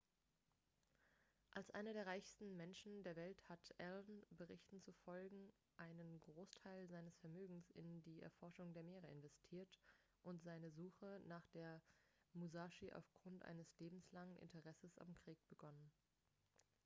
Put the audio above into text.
als einer der reichsten menschen der welt hat allen berichten zufolge einen großteil seines vermögens in die erforschung der meere investiert und seine suche nach der musashi aufgrund eines lebenslangen interesses am krieg begonnen